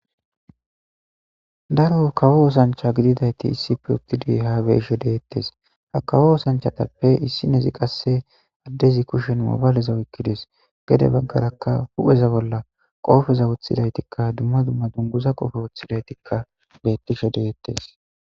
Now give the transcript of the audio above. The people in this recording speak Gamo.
Daro kawo osancha gididayti issipe uttidi haabeeshe deyettes ha kawo oosanchatappe issi nezi qasse addezi kushen moobayleza wokkides gede baggarakka pupheza bolla qoofeza wothidaytikka dumma dumma dunguza qofe woththidaytikka bettishe deyettees.